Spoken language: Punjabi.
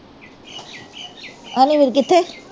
ਕਿੱਥੇ